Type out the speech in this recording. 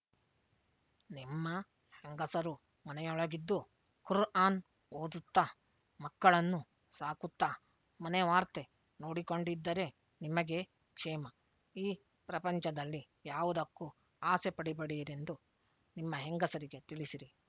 ನಿಮ್ಮ ಹೆಂಗಸರು ಮನೆಯೊಳಗಿದ್ದು ಖುರ್‍ಆನ್ ಓದುತ್ತಾ ಮಕ್ಕಳನ್ನು ಸಾಕುತ್ತಾ ಮನೆ ವಾರ್ತೆ ನೋಡಿಕೊಂಡಿದ್ದರೆ ನಿಮಗೇ ಕ್ಷೇಮ ಈ ಪ್ರಪಂಚದಲ್ಲಿ ಯಾವುದಕ್ಕೂ ಆಸೆ ಪಡಿಬೆಡಿಯರೆಂದು ನಿಮ್ಮ ಹೆಂಗಸರಿಗೆ ತಿಳಿಸಿರಿ